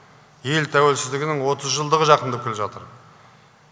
ел тәуелсіздігінің отыз жылдығы жақындап келе жатыр